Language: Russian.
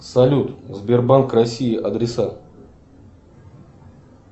салют сбербанк россии адреса